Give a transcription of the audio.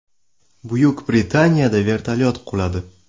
Buyuk Britaniyada vertolyot quladi.